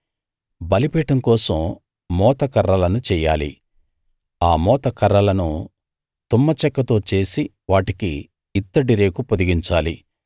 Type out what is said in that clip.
బలిపీఠం కోసం మోతకర్రలను చెయ్యాలి ఆ మోతకర్రలను తుమ్మచెక్కతో చేసి వాటికి ఇత్తడి రేకు పొదిగించాలి